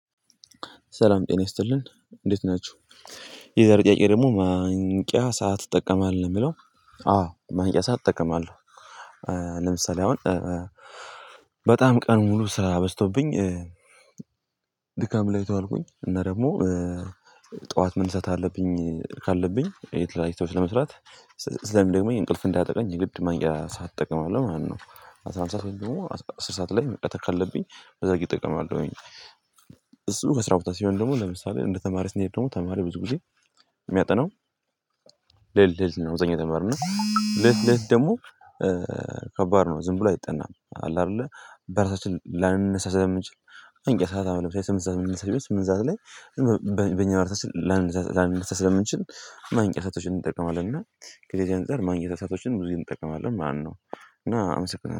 ሰላም ጤና ይስጥልን እንዴት ናችሁ? የዛሬ ጥያቄ ደግሞ ማንቂያ ሰዓት ትጠቀማለህ? ነው የምለው አዎ ማንቂያ ሰዓት እጠቀማለሁ ለምሳሌ አሁን በጣም ቀን ሙሉ ስራ በዝቶብኝ ድካም ላይ ከሆንኩኝ እና ደግሞ ጠዋት መነሰት አለብኝ ካለብኝ የት ላይ ስለመስራት ስለም ደግሞ የእንቅልፍ እንዳጠቀኝ ግድ ማንበብ ሳትጠቅም አለው ማለት ነው አስራ አንድ ሰዓት ደግሞ አስር ሰዓት ላይ መቅጠር ካለብኝ በዛ ጊዜ እጠቀማለሁኝ እሱ ከስራ ቦታ ሲሆን ደግሞ ለምሳሌ እንደ ተማሪ ስንሄድ ደግሞ ተማሪ ብዙ ጊዜ የሚያጠናው ሌሊት ሌሊት ነው አብዛኛው ተማሪ እና ለሊት ለሊት ደግሞ ከባድ ነው ዝም ብሎ አይጠናም አለ አይደለ በራሳችን ላንነሳ ስለምንችል ማንቂያ ሰዓት አሁን ለምሳሌ ስምንት ሰዓት ስም እዛ ስምንት ሰዓት ላይ በኛ ማለት ላንነሳ ላንነሳ ስለምንችል ማነቂያ ሰአቶችን እንጠቀማለን እና ከዚህ አንፃር ማንቂያ ሰአቶችን ብዙጊዜ እንጠቀማለን ማነው እና አመሰግናለሁ